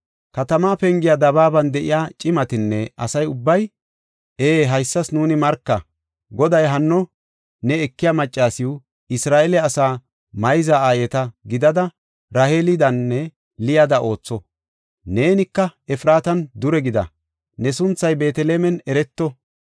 Katama pengiya dabaaban de7iya cimatinne asa ubbay, “Ee, haysas nuuni marka! Goday hanno ne ekiya maccasiw, Isra7eele asa mayza aayeta gidida Raheelidanne Liyada ootho. Neenika Efraatan dure gida, ne sunthay Beetelemen ereto.